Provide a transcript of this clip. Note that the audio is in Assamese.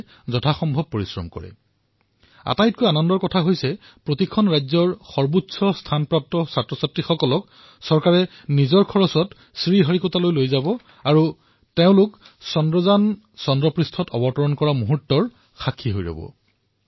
সকলো বিদ্যাৰ্থীক যেন ইয়াত অংশগ্ৰহণ কৰিবলৈ উৎসাহিত কৰে আৰু সকলোতকৈ আকৰ্ষণীয় কথাটো হল প্ৰতিখন ৰাজ্যৰ পৰা সৰ্বাধিক নম্বৰ পোৱা বিদ্যাৰ্থীক ভাৰত চৰকাৰে নিজৰ খৰচত শ্ৰীহৰিকোটালৈ লৈ যাব আৰু ছেপ্টেম্বৰত তেওঁলোকে চন্দ্ৰায়নে চন্দ্ৰপৃষ্ঠত অৱতৰণ কৰাৰ বিৰল মুহূৰ্তৰ সাক্ষী হব পাৰিব